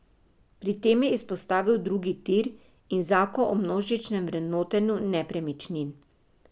Pri tem je izpostavil drugi tir in zakon o množičnem vrednotenju nepremičnin.